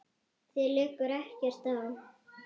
Þér liggur ekkert á.